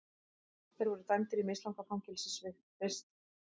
Þeir voru dæmdir í mislanga fangelsisvist